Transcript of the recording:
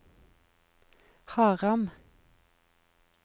Haram